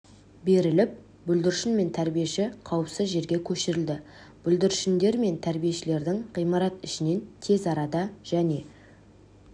беріліп бүлдіршін мен тәрбиеші қауіпсіз жерге көшірілді бүлдіршіндер мен тәрбиешілердің ғимарат ішінен тез арада және